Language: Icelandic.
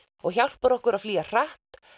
og hjálpar okkur að flýja hratt